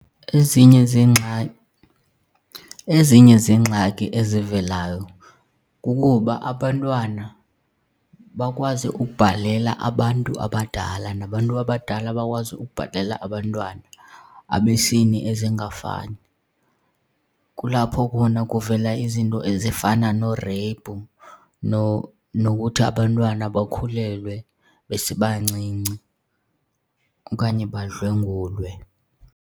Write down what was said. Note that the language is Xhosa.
Ezinye zeengxaki, ezinye zeengxaki ezivelayo kukuba abantwana bakwazi ukubhalela abantu abadala nabantu abadala bakwazi ukubhalela abantwana abesini ezingafani. Kulapho khona kuvela izinto ezifana noo-rape nokuthi abantwana bakhulelwe besebancinci okanye badlwengulwe.